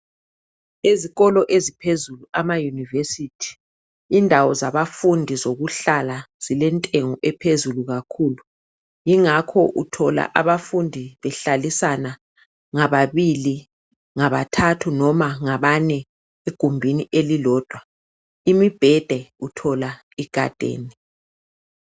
Ezikolo eziphezulu ama "University" indawo zabafundi zokuhlala zilentengo ephezulu kakhulu yingakho uthola abafundi behlalisana ngababili, ngabathathu noma ngabane egumbuni elilodwa imibhede uthola igadene.